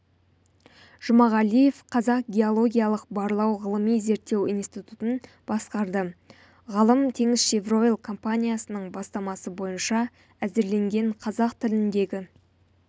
жұмағалиев қазақ геологиялық барлау ғылыми-зерттеу институтын басқарды ғалым теңізшевройл компаниясының бастамасы бойынша әзірленген қазақ тіліндегі